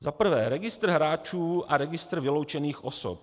Za prvé, registr hráčů a registr vyloučených osob.